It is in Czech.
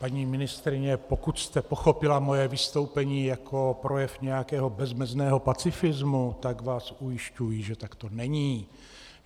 Paní ministryně, pokud jste pochopila moje vystoupení jako projev nějakého bezmezného pacifismu, tak vás ujišťuji, že tak to není.